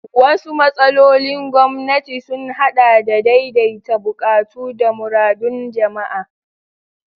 Wasu matsalolin gwamnati sun haɗa da daidaita buƙatu da muradun jama'a.